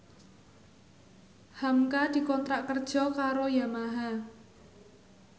hamka dikontrak kerja karo Yamaha